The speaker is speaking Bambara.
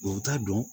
U t'a dɔn